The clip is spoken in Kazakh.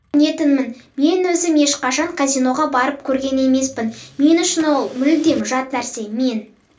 түсінетінмін мен өзім ешқашан казиноға барып көрген емеспін мен үшін ол мүлдем жат нәрсе мен